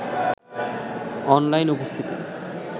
online উপস্থিতি